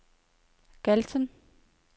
Galten